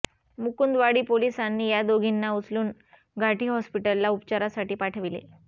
मुकुंदवाडी पोलिसांनी या दोघींना उचलून घाटी हॉस्पिटलला उपचारासाठी पाठविले